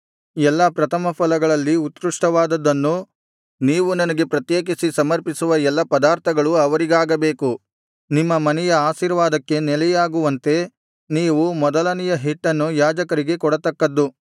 ಎಲ್ಲಾ ಪ್ರಥಮಫಲಗಳಲ್ಲಿ ಉತ್ಕೃಷ್ಟವಾದದ್ದನ್ನು ನೀವು ನನಗೆ ಪ್ರತ್ಯೇಕಿಸಿ ಸಮರ್ಪಿಸುವ ಎಲ್ಲಾ ಪದಾರ್ಥಗಳೂ ಅವರಿಗಾಗಬೇಕು ನಿಮ್ಮ ಮನೆಯು ಆಶೀರ್ವಾದಕ್ಕೆ ನೆಲೆಯಾಗುವಂತೆ ನೀವು ಮೊದಲನೆಯ ಹಿಟ್ಟನ್ನು ಯಾಜಕರಿಗೆ ಕೊಡತಕ್ಕದ್ದು